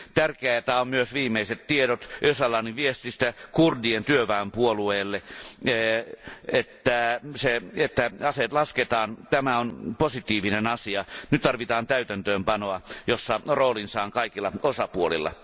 Tärkeitä ovat myös viimeiset tiedot Öcalanin viestistä kurdien työväenpuolueelle, että aseet lasketaan. Tämä on positiivinen asia, nyt tarvitaan täytäntöönpanoa, jossa roolinsa on kaikilla osapuolilla.